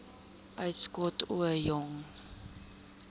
uitskot ooie jong